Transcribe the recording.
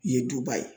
Ye duba ye